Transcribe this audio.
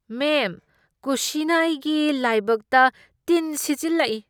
ꯃꯦꯝ, ꯀꯨꯁꯤꯅ ꯑꯩꯒꯤ ꯂꯥꯏꯕꯛꯇ ꯇꯤꯟ ꯁꯤꯠꯆꯤꯜꯂꯛꯏ꯫